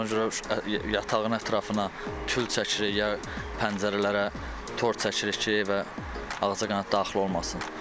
Ona görə yatağın ətrafına pudra çəkirik ya pəncərələrə tor çəkirik ki, evə ağcaqanad daxil olmasın.